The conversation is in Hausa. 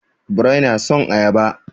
Birrai na son ayaba.